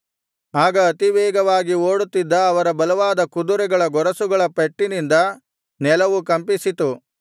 ಆಗ ಅತಿವೇಗವಾಗಿ ಓಡುತ್ತಿದ್ದ ಅವರ ಬಲವಾದ ಕುದುರೆಗಳ ಗೊರಸುಗಳ ಪೆಟ್ಟಿನಿಂದ ನೆಲವು ಕಂಪಿಸಿತು